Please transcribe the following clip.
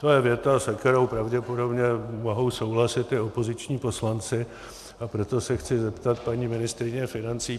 To je věta, se kterou pravděpodobně mohou souhlasit i opoziční poslanci, a proto se chci zeptat paní ministryně financí.